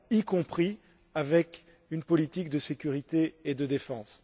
y compris avec une politique de sécurité et de défense.